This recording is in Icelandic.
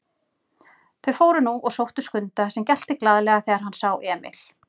Þau fóru nú og sóttu Skunda sem gelti glaðlega þegar hann sá Emil.